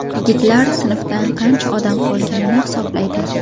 Yigitlar sinfdan qancha odam qolganini hisoblaydi.